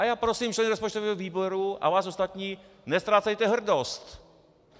A já prosím členy rozpočtového výboru a vás ostatní - neztrácejte hrdost!